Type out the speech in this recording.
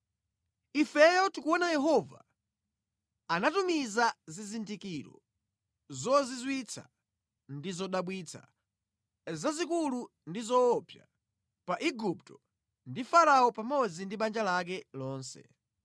Ifeyo tikuona Yehova anatumiza zizindikiro zozizwitsa ndi zodabwitsa, zazikulu ndi zoopsa, pa Aigupto ndi Farao pamodzi ndi banja lake lonse.